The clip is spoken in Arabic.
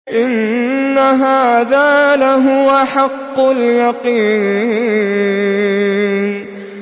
إِنَّ هَٰذَا لَهُوَ حَقُّ الْيَقِينِ